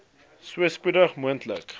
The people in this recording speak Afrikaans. so spoedig moontlik